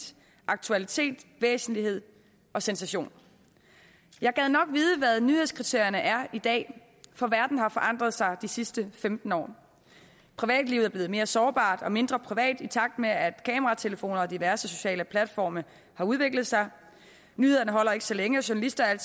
aktualitet væsentlighed og sensation jeg gad nok vide hvad nyhedskriterierne er i dag for verden har forandret sig de sidste femten år privatlivet er blevet mere sårbart og mindre privat i takt med at kameratelefoner og diverse sociale platforme har udviklet sig nyhederne holder ikke så længe journalister er